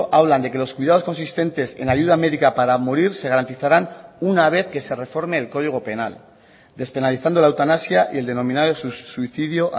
hablan de que los cuidados consistentes en ayuda médica para morir se garantizarán una vez que se reforme el código penal despenalizando la eutanasia y el denominado suicidio